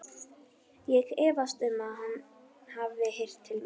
Ég efast um, að hann hafi heyrt til mín.